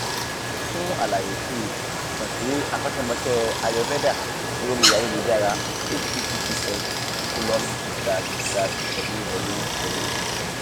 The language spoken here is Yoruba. fún àlàyé síi kàn sí akọ́ṣẹ́mọṣẹ́ ayurveda lórí ayélujára https colon slash slash www